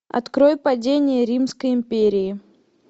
открой падение римской империи